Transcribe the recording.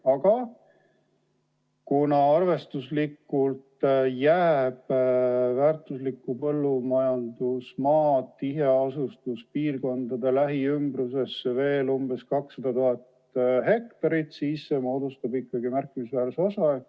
Aga kuna arvestuslikult jääb väärtuslikku põllumajandusmaad tiheasustuspiirkondade lähiümbrusesse veel ca 200 000 ha, siis see moodustab ikkagi märkimisväärse osa.